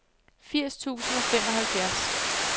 firs tusind og femoghalvfjerds